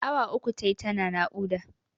Awa uku tayi tana naƙuda.